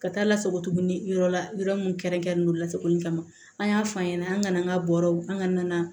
Ka taa lasago tuguni yɔrɔ la yɔrɔ min kɛrɛnkɛrɛnnen don lasagoli kama an y'a f'an ɲɛna an ŋana an ŋa bɔrɔw an ŋa na